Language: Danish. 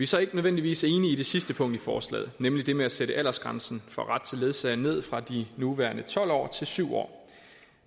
så ikke nødvendigvis enige i det sidste punkt i forslaget nemlig det med at sætte aldersgrænsen for ret til ledsager ned fra de nuværende tolv år til syv år